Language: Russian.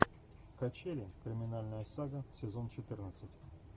качели криминальная сага сезон четырнадцать